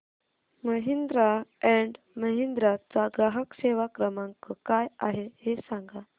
Mahindra and Mahindra चा ग्राहक सेवा क्रमांक काय आहे हे सांगा